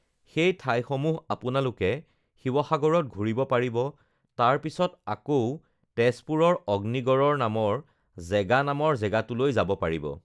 সেই ঠাইসমূহ আপোনালোকে শিৱসাগৰত ঘূৰিব পাৰিব তাৰ পিছত আকৌ তেজপুৰৰ অগ্নিগড়ৰ নামৰ জেগা নামৰ জেগাটোলৈ যাব পাৰিব